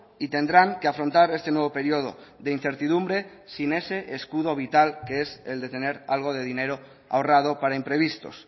y tendrán que afrontar este nuevo periodo de incertidumbre sin ese escudo vital que es el de tener algo de dinero ahorrado para imprevistos